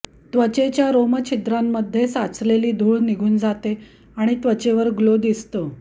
त्वचेच्या रोमछिद्रांमध्ये साचलेली धुळ निघून जाते आणि त्वचेवर ग्लो दिसतो